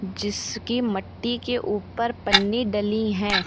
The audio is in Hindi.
जिसकी मट्टी के ऊपर पन्नी डली है।